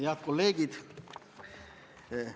Head kolleegid!